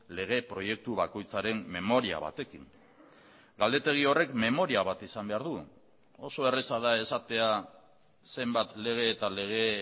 lege proiektu bakoitzaren memoria batekin galdetegi horrek memoria bat izan behar du oso erraza da esatea zenbat lege eta lege